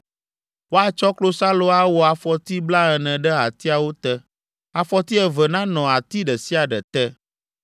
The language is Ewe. Woatsɔ klosalo awɔ afɔti blaene ɖe atiawo te: afɔti eve nanɔ ati ɖe sia ɖe te.